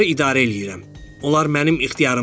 Onlar mənim ixtiyarımdadır.